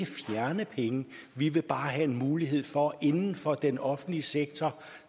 fjerne penge vi vil bare have en mulighed for inden for den offentlige sektor